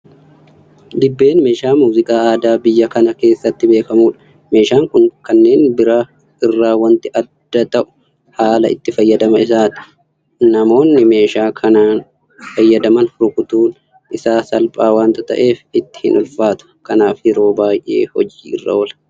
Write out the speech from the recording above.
Dibbeen meeshaa muuziqaa aadaa biyya kana keessatti beekamudha. Meeshaan kun kanneen biraa irraa waanti adda ta'u haala itti fayyadama isaati. Namoonni meeshaa kanaan fayyadaman rukutuun isaa salphaa waanta ta'eef itti hinulfaatu. Kanaaf yeroo baay'ee hojii irra oola.